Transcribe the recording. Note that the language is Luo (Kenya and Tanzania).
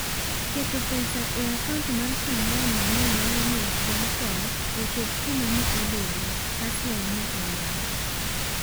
Keto pesa e akaunt mar Shangani ne nyalomiyo Spencon "ochop kuma ne odwaro," Haswell ne olero.